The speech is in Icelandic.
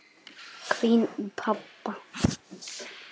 hvín í pabba.